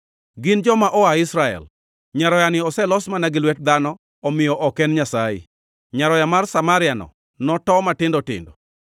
Gin joma oa Israel! Nyaroyani oselos mana gi lwet dhano omiyo ok en Nyasaye. Nyaroya mar Samaria-no noto matindo tindo.